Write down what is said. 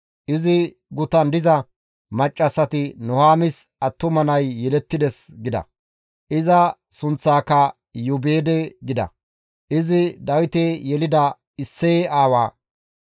Izi gutan diza maccassati, «Nuhaamis attuma nay yelettides» gida; iza sunththaaka Iyoobeede gida. Izi Dawite yelida Isseye aawa.